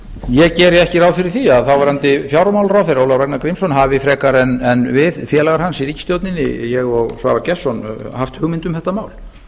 ég geri ekki ráð fyrir því að þáverandi fjármálaráðherra ólafur ragnar grímsson hafi vitað frekar en við félagar hans í ríkisstjórninni ég og svavar gestsson haft hugmynd um þetta mál